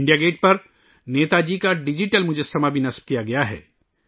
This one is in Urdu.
انڈیا گیٹ پر نیتا جی کا ڈیجیٹل مجسمہ بھی نصب کیا گیا ہے